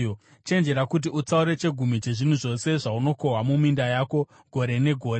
Chenjera kuti utsaure chegumi chezvinhu zvose zvaunokohwa muminda yako gore negore.